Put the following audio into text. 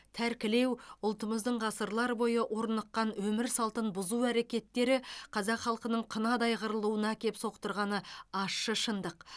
тәркілеу ұлтымыздың ғасырлар бойы орныққан өмір салтын бұзу әрекеттері қазақ халқының қынадай қырылуына әкеп соқтырғаны ащы шындық